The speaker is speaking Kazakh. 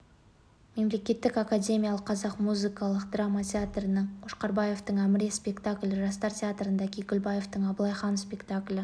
мемлекеттік академиялық қазақ музыкалық драма театрында қошқарбаевтың әміре спектаклі жастар театрында кекілбаевтың абылай хан спектаклі